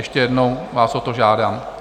Ještě jednou vás o to žádám.